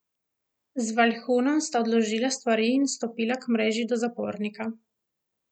Z Valjhunom sta odložila stvari in stopila k mreži do zapornika.